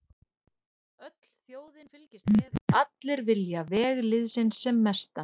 Öll þjóðin fylgist með og allir vilja veg liðsins sem mestan.